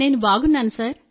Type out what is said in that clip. నేను బాగున్నాను